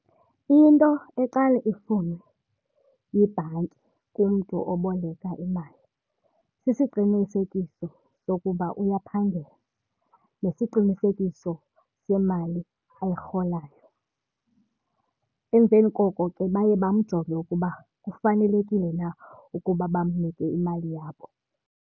Into eqale ifunwe yibhanki kumntu oboleka imali sisiqinisekiso sokuba uyaphangela nesiqinisekiso semali ayirholayo. Emveni koko ke baye bamjonge ukuba kufanelekile na ukuba bamnike imali yabo.